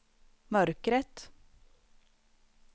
mörkret